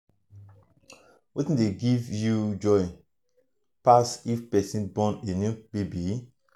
wetin dey give you um joy um pass if pesin born a new baby? um